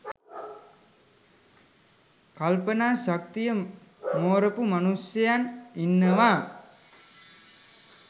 කල්පනා ශක්තිය මෝරපු මනුෂ්‍යයන් ඉන්නවා